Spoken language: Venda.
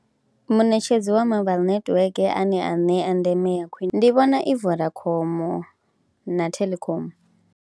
Munetshedzi wa mobile netiweke ane a ṋea ndeme ya khwine ndi vhona i Vodacom na Telkom.